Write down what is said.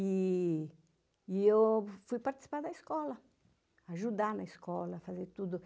E eu fui participar da escola, ajudar na escola, fazer tudo.